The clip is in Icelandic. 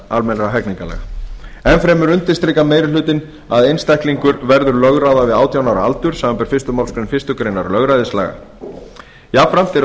almennra hegningarlaga enn fremur undirstrikar meiri hlutinn að einstaklingur verður lögráða við átjánda ára aldur samanber fyrstu málsgrein fyrstu grein lögræðislaga jafnframt eru